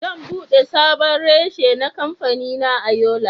Zan bude sabon reshe na kamfanina a Yola.